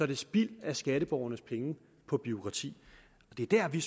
det spild af skatteborgernes penge på bureaukrati det er der vi